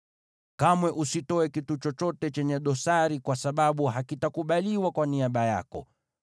Kamwe usitoe kitu chochote chenye dosari kwa sababu hakitakubaliwa kwa niaba yako.